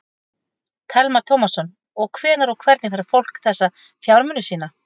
Telma Tómasson: Og hvenær og hvernig fær fólk þessa fjármuni sína?